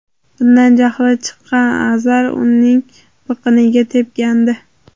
Bundan jahli chiqqan Azar uning biqiniga tepgandi.